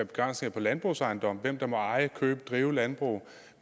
begrænsninger på landbrugsejendomme altså hvem der må eje købe og drive landbrug